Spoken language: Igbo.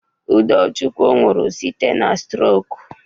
Udochukwu nwụrụ site n'strok.